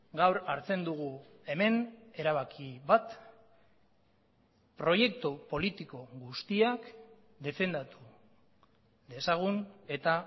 gaur hartzen dugu hemen erabaki bat proiektu politiko guztiak defendatu dezagun eta